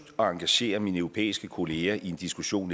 at engagere mine europæiske kollegaer i en diskussion